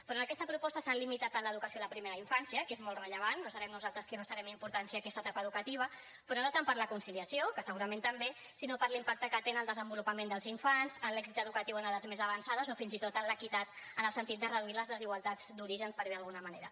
però en aquesta proposta s’han limitat en l’educació a la primera infància que és molt rellevant no serem nosaltres qui restarem importància a aquesta etapa educativa però no tant per a la conciliació que segurament també sinó per l’impacte que té en el desenvolupament dels infants en l’èxit educatiu en edats més avançades o fins i tot en l’equitat en el sentit de reduir les desigualtats d’origen per dir ho d’alguna manera